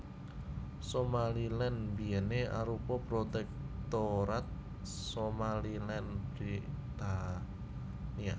Somaliland biyèné arupa Protektorat Somaliland Britania